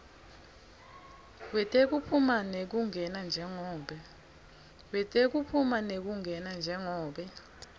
wetekuphuma nekungena njengobe